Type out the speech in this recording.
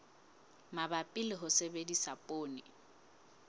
mabapi le ho sebedisa poone